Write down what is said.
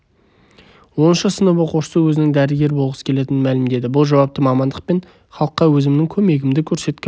оныншы сынып оқушысы өзінің дәрігер болғысы келетінін мәлімдеді бұл жауапты мамандық мен халыққа өзімнің көмегімді көрсеткім